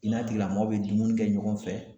I n'a tigilamɔgɔ bɛ dumuni kɛ ɲɔgɔn fɛ.